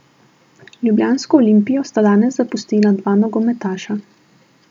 Ljubljansko Olimpijo sta danes zapustila dva nogometaša.